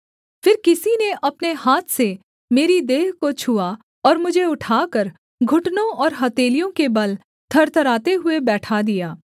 फिर किसी ने अपने हाथ से मेरी देह को छुआ और मुझे उठाकर घुटनों और हथेलियों के बल थरथराते हुए बैठा दिया